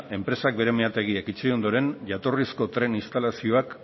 enpresak bere meategiak itxi ondoren jatorrizko tren instalazioak